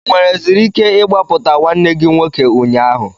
Ị nwereziri ike ịgbapụta nwanne gị nwoke ụnyaahụ?